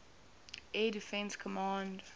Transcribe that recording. air defense command